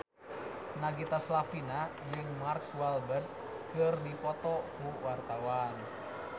Nagita Slavina jeung Mark Walberg keur dipoto ku wartawan